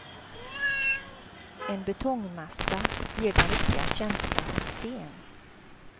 En betongmassa ger den riktiga känslan av sten.